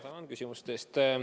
Tänan küsimuse eest!